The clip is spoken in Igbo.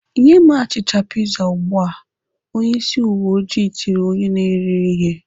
"Nye m achịcha piza ugbu a!" Onyeisi uweojii tiri onye na-ere ihe.